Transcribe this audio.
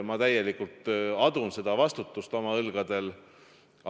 Ma täielikult adun seda vastutust oma õlgadel.